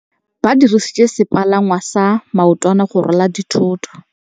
Ba dirisitse sepalangwasa maotwana go rwala dithôtô.